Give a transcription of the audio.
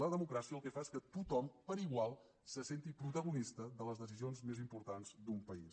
la democràcia el que fa és que tothom per igual se senti protagonista de les decisions més importants d’un país